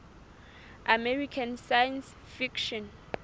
american science fiction